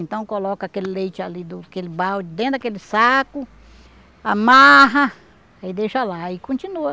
Então coloca aquele leite ali, do aquele balde, dentro daquele saco, amarra, aí deixa lá aí continua.